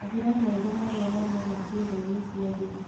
Mahira meerũ marĩa maumaga ciĩgainĩ cia thiri